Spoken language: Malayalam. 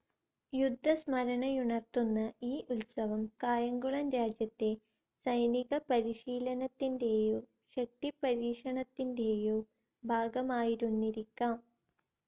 യുദ്ധസ്മരണയുണർത്തുന്ന ഈ ഉത്സവം കായംകുളം രാജ്യത്തെ സൈനികപരിശീലനത്തിൻറെയോ ശക്തിപരീക്ഷണത്തിൻറെയോ ഭാഗമായിരുന്നിരിക്കാം.